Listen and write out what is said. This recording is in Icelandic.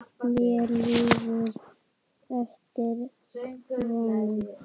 Mér líður eftir vonum.